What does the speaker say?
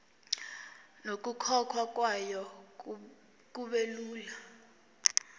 nokukhokhwa kwayo kubelula